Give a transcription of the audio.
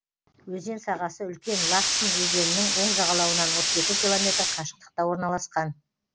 өзен сағасы үлкен лахсын өзенінің оң жағалауынан отыз екі километр қашықтықта орналасқан